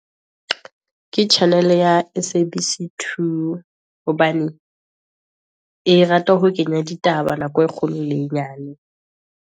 Ke channel ya Sabc 2, hobane e rate ho kenya ditaba nako e kgolo le e nyane.